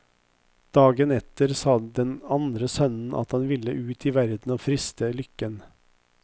Dagen etter sa den andre sønnen at han ville ut i verden og friste lykken.